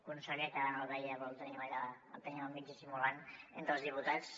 conseller que ara no el veia però el tenim allà el tenim al mig dissimulant entre els diputats